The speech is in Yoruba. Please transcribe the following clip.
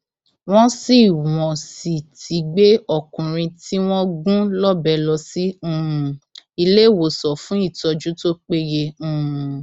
wọn sì wọn sì ti gbé ọkùnrin tí wọn gún lọbẹ lọ sí um iléewòsàn fún ìtọjú tó péye um